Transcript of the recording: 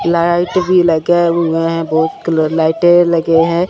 Light भी लगे हुए हैं बहुत कलर लाइटे लगे हैं।